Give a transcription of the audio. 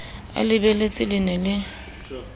a le lebeletse le ne